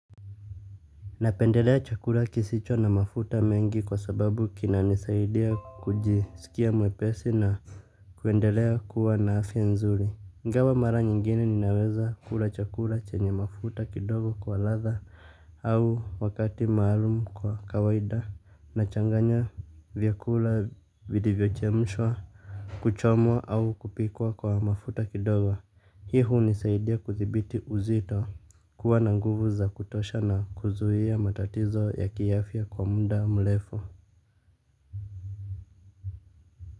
Napendelea chakula kisicho na mafuta mengi kwa sababu kinanisaidia kujisikia mwepesi na kuendelea kuwa na afya nzuri. Ingawa mara nyingine ninaweza kula chakula chenye mafuta kidogo kwa lahha au wakati maalum kwa kawaida nachanganya vyakula vilivyo chemshwa kuchomwa au kupikwa kwa mafuta kidogo. Hii hunisaidia kuthibiti uzito kuwa na nguvu za kutosha na kuzuia matatizo ya kiafya kwa mda mlefu.